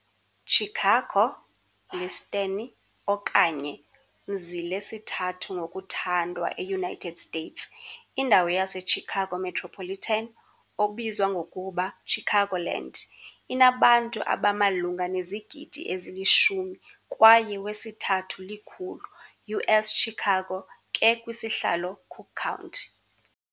Chicago, Listeni, okanye mzi lesithathu ngokuthandwa eUnited States. Indawo yaseChicago metropolitan, obizwa ngokuba Chicagoland, inabantu abamalunga nezigidi ezili-10 kwaye wesithathu-likhulu U.S.Chicago ke kwisihlalo Cook County.